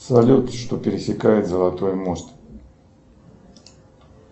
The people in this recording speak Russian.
салют что пересекает золотой мост